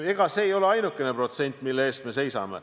Ega see ei ole ainuke protsent, mille eest me seisame.